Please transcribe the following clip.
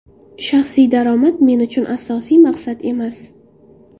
Shaxsiy daromad men uchun asosiy maqsad emas.